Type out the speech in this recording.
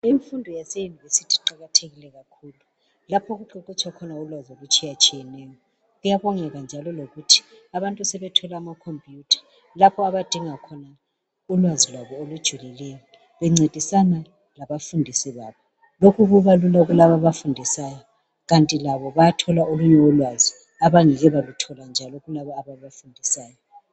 Imfundo Yase yunivesithi iqakathekile kakhulu lapho Okuqeqetsha khona ulwazi olutshiyatshiyeneyo kuyabongeka njalo lokuthi abantu sebethole amakhompuyutha lapho abadinga khona ulwazi lwabo olujulileyo bencedisana labafundi babo lokhu kuba Lula kulabo abafundisayo bayathola olunye ulwazi abangeke baluthola njalo kulabo ababafundisayo